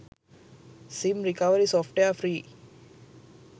sim recovery software free